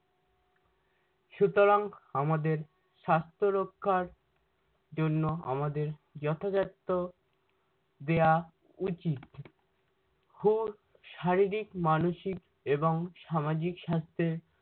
সুতরাং আমাদের স্বাস্থ্য রক্ষার জন্য আমাদের যথাযথ দেয়া উচিত। হুর শারীরিক মানসিক এবং সামাজিক স্বাস্থ্যে-